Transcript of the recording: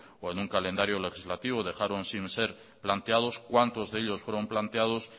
o en un calendario legislativo dejaron sin ser planteados cuántos de ellos fueron planteados